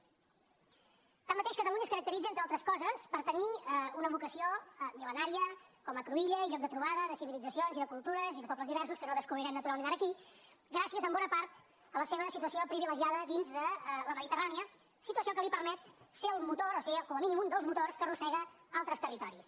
tanmateix catalunya es caracteritza entre altres coses per tenir una vocació mil·lenària com a cruïlla i lloc de trobada de civilitzacions i de cultures i de pobles diversos que no descobrirem naturalment ara aquí gràcies en bona part a la seva situació privilegiada dins de la mediterrània situació que li permet ser el motor o ser com a mínim un dels motors que arrossega altres territoris